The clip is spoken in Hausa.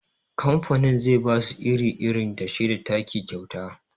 Kamfanin zai basu iri, irin dashe da taki kyauta